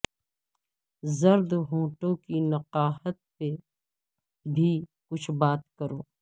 زرد ہونٹوں کی نقاہت پہ بھی کچھ بات کرو